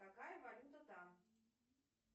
какая валюта там